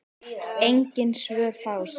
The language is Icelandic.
Engin svör fást.